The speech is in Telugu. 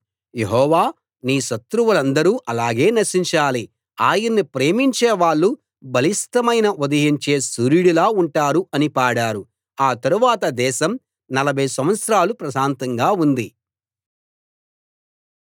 యెహోవా నీ శత్రువులందరూ అలాగే నశించాలి ఆయన్ని ప్రేమించేవాళ్ళు బలిష్టమైన ఉదయించే సూర్యుడిలా ఉంటారు అని పాడారు ఆ తరువాత దేశం నలభై సంవత్సరాలు ప్రశాంతంగా ఉంది